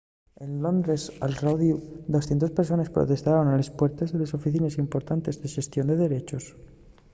en londres al rodiu 200 persones protestaron a les puertes de delles oficines importantes de xestión de derechos